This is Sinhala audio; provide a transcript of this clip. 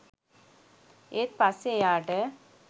ඒත් පස්සෙ එයාට